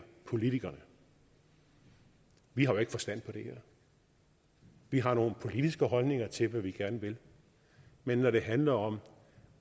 politikerne vi har jo ikke forstand på det her vi har nogle politiske holdninger til hvad vi gerne vil men når det handler om